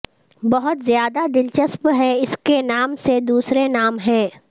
بہت زیادہ دلچسپ ہیں اس کے نام سے دوسرے نام ہیں